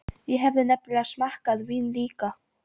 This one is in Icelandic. Ég hafði nefnilega smakkað vín líka.